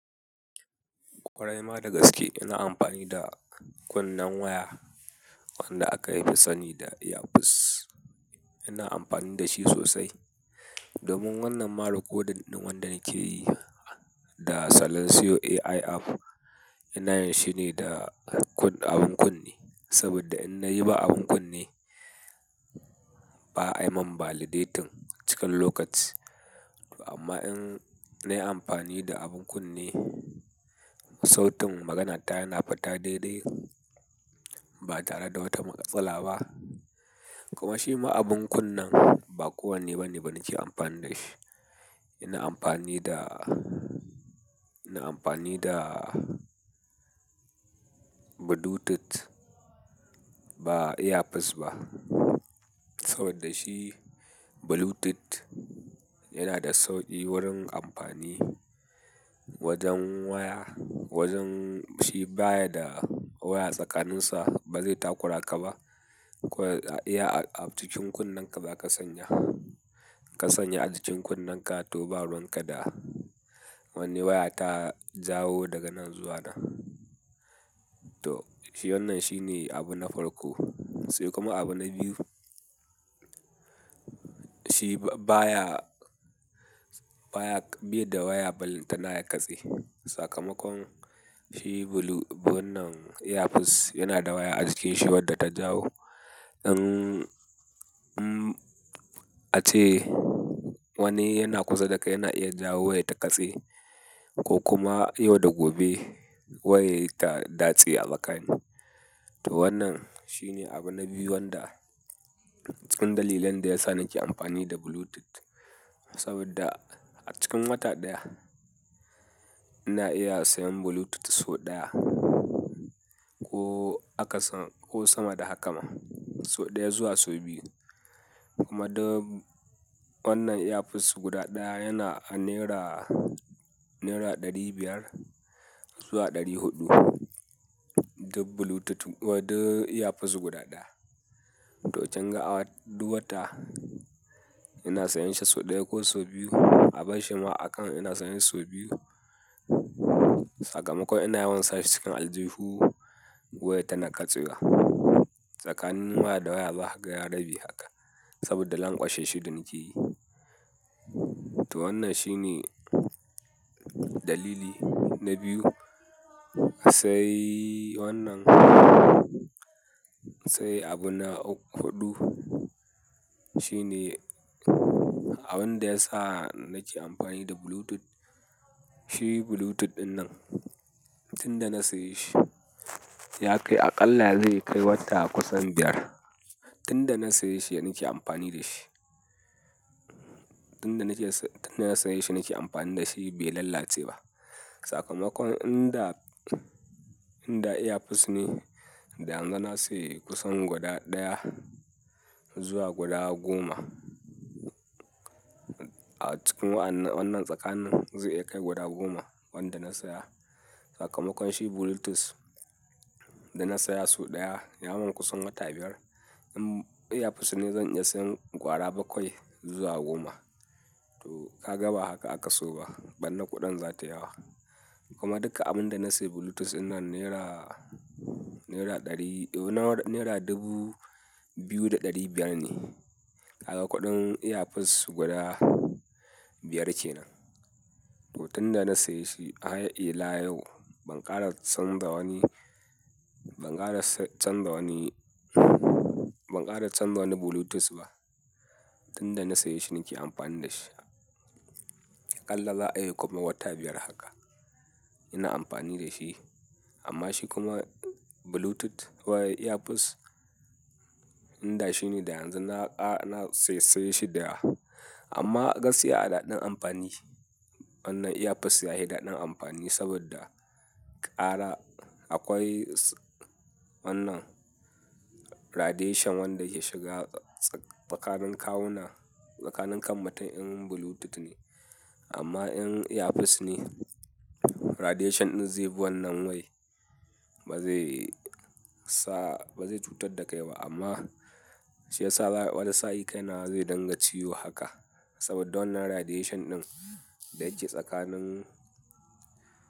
Kwarai ma da gaske ina amfani da kunnen waya wanda aka sani da earpiece. Ina amfani da shi sosai. Domin wannan ma rakodinɗin wanda nake yi da Salansiyo AI app, ina yin shi ne da abun kunne. Saboda in na yi ba abin kunne, ba'a yi mun validating cikin lokaci. Amma in na yi amfani da abin kunne, sautin maganata yana fita daidai. Ba tare da wata matsala ba. Kuma shi ma abin kunnen ba kowane bane nake amfani da shi. Ina amfani da, ina amfani da Bluetooth ba earpiece ba. Saboda shi Bluetooth yana da sauƙi wurin amfani wajen waya, wajen shi baya da waya tsakaninsa ba zai takura ka ba. Kwai a iya a cikin kunnen ka za ka sanya. Ka sanya a cikin kunnen ka to ba ruwanka da wani waya ta jawo daga nan zuwa nan. To shi wannan shine abu na farko. Sai kuma abu na biyu, shi baya, baya bi da waya ballanta na ya katse. Sakamakon shi wannan earpiece yana da waya a cikinsa wadda ta jawo. In, in ace wani yana kusa da kai yana iya jawo wayar ta katse ko kuma yau da gobe wayar ta datse a makani. To wannan shine abu na biyu wanda cikin dalilan da yasa nake amfani da Bluetooth. Saboda a cikin wata ɗaya ina iya sayan Bluetooth sau ɗaya ko aka san ko sama da haka ma. Sau ɗaya zuwa sau biyu. Kuma duk wannan earpiece guda ɗaya yana a naira, naira ɗari biyar zuwa ɗari huɗu. Duk Bluetooth, duk earpiece guda ɗaya. To kinga a duk wata ina sayan shi sau ɗaya ko sau biyu. Abar shi ma a kan ina sayan sau biyu. Sakamakon ina yawan sa cikin aljihu wayar ta na ƙatsewa. Tsakanin waya da waya za kaga ya rabe haka. Saboda lankwashe shi da nake yi to wannan shine dalili na biyu. Sai wannan, sai abu na huɗu shine abin da yasa nake amfani da Bluetooth. Shi Bluetooth ɗinnan tunda na saye shi ya kai aƙalla zai kai wata kusan biyar. Tunda na saye shi nike amfani da shi. Tunda na saye shi nake amfani da shi bai lallace ba. Sakamakon in da, in da earpiece ne, da yanzu na saye kusan guda ɗaya zuwa guda goma. A cikin wannan tsakanin zai iya kai gwada goma wanda na saya. Sakamakon shi Bluetooth da na saya sau ɗaya ya mun kusan wata biyar. To wannan shine abu na biyu wanda cikin dalilan da yasa nake amfani da Bluetooth. To ka ga ba haka aka so ba. Bannar kuɗin za ta yawa. Kuma duka abin da na sayi Bluetooth ina naira, naira ɗari, ina naira dubu biyu da ɗari biyar ne. Kaga kuɗin earpiece guda biyar kenan. To tunda na saye shi har ila yau, ban kara canja wani ban kara wani Bluetooth ba tunda na saye shi nake amfani da shi. Aƙalla za a iya kuma wata biyar haka. Ina amfani da shi. Amma shi kuma Bluetooth wai earpiece in da shi ne da yanzu na ƙara, na saye, saye shida yawa. Amma gaskiya a daɗin amfani wannan earpiece yahi daɗin amfani saboda ƙara akwai wannan radiation wanda yake shiga tsakanin kawuna, tsakanin kan mutum in Bluetooth ne. Amma in earpiece ne radiation ɗin zai bi wannan wayai. Ba zai sa, ba zai cutar da kai ba amma shi ya sa wani sa'i kai na zai dinga ciwo haka. Saboda wannan radiation ɗin da yake tsakanin.